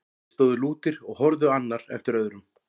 Þeir stóðu lútir og horfði annar eftir öðrum.